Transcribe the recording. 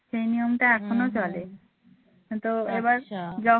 সেই নিয়মটা এখনো চলে কিন্তু এবার